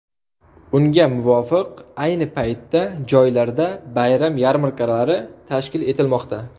Unga muvofiq, ayni paytda joylarda bayram yarmarkalari tashkil etilmoqda.